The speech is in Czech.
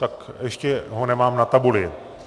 Tak ho ještě nemám na tabuli.